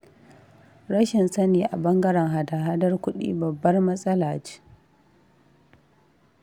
Rashin sani a ɓangaren hada- haɗar kuɗi babbar matsala ce.